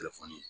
Telefɔni